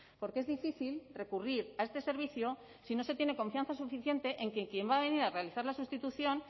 porque es difícil recurrir a este servicio si no se tiene confianza suficiente en que quien va a venir a realizar la sustitución